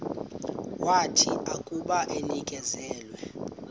wathi akuba enikezelwe